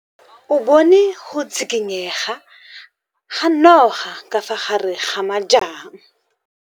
O bone go tshikinya ga noga ka fa gare ga majang.